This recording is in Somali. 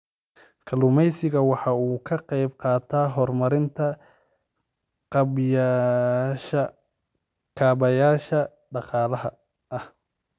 Kalluumaysigu waxa uu ka qayb qaataa horumarinta kaabayaasha dhaqaalaha.